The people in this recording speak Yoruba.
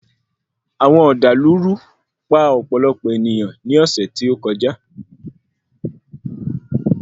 Àwọn ọ̀dàlúrú pa ọ̀pọ̀lọpọ̀ èniyàn ní ọ̀sẹ̀ tí ó kọjá.